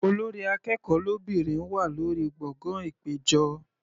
Olórí akẹ́kọ̀ọ́ lóbìnrin wà lórí gbọ̀ngàn ìpéjọ.